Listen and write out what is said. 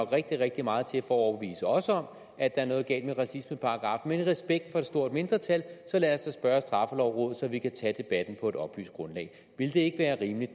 rigtig rigtig meget til at overbevise os om at der er noget galt med racismeparagraffen men i respekt for et stort mindretal så lad os da spørge straffelovrådet så vi kan tage debatten på et oplyst grundlag ville det ikke være rimeligt